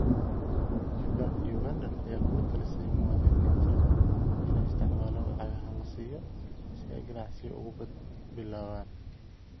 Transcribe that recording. Ugandan ayaa kula talisay muwaadiniinta inay isticmaalaan lacagaha la siiyo si ay ganacsiyo ugu bilaabaan.